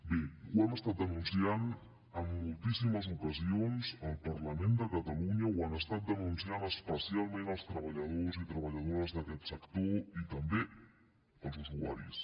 bé ho hem estat denunciant en moltíssimes ocasions al parlament de catalunya ho han estat denunciant especialment els treballadors i treballadores d’aquest sector i també els usuaris